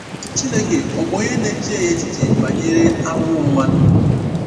Chineke ọ̀ bụ onye na-echeghị echiche banyere ahụhụ mmadụ?